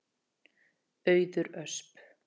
Auður Ösp.